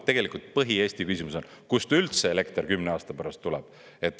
Tegelikult põhiküsimus on, kust üldse elekter 10 aasta pärast tuleb.